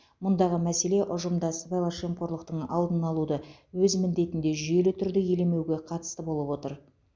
мұндағы мәселе ұжымда сыбайлас жемқорлықтың алдын алуды өз міндетінде жүйелі түрде елемеуге қатысты болып отыр